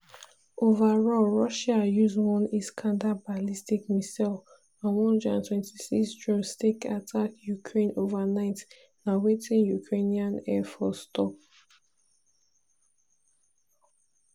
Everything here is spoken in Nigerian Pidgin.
overall russia use one iskander ballistic missile and 126 drones take attack ukraine overnight na wetin ukrainian air force tok.